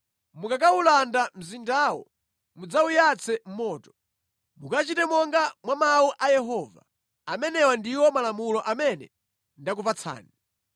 Mukakawulanda mzindawo mudzawuyatse moto. Mukachite monga mwa mawu a Yehova. Amenewa ndiwo malamulo amene ndakupatsani.”